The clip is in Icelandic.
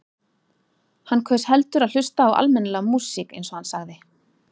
Hann kaus heldur að hlusta á almennilega músík eins og hann sagði.